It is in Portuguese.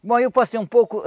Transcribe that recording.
Bom, eu passei um pouco.